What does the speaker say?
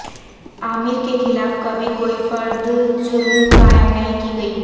عامر کے خلاف کبھی کوئی فرد جرم قائم نہیں کی گئی